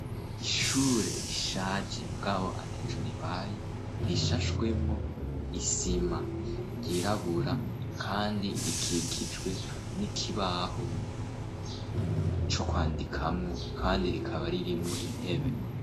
ishure rishaje mugabo ataco ribaye rishashwemwo isima ryirabura kandi rikikijwe n'ikibaho co kwandikamwo kandi rikaba ririmo intebe